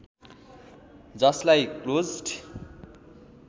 जस्लाई closed